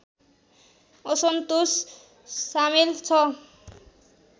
असन्तोष सामेल छ